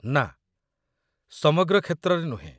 ନା, ସମଗ୍ର କ୍ଷେତ୍ରରେ ନୁହେଁ।